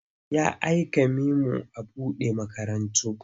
Ya aika memo a man buɗe makarantu.